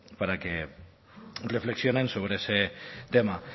para que reflexionen sobre ese tema